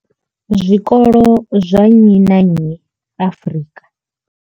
Zwikolo zwa nnyi na nnyi Afrika.